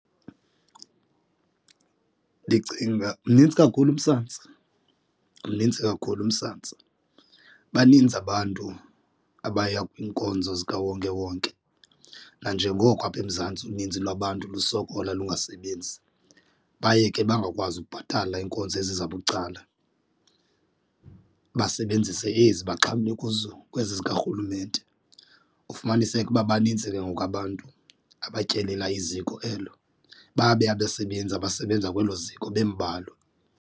Ndicinga mnintsi kakhulu umsantsa, mnintsi kakhulu umsantsa, baninzi abantu abaya kwiinkonzo zikawonkewonke nanjengoko apha eMzantsi uninzi lwabantu lusokola lungasebenzi baye ke bangakwazi ukubhatala iinkonzo ezi zabucala. Basebenzise ezi baxhamle kuzo kwezi zikarhulumente ufumaniseke uba banintsi ke ngoku abantu abatyelela iziko elo babe abasebenzi abasebenza kwelo ziko bembalwa.